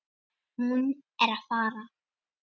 Hún er að fara.